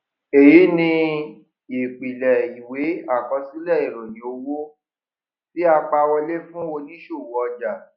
èyí ni ìpìlẹ ìwé àkọsílẹ ìròyìn owó tí a pa wọlé fún oníṣòwò ọjà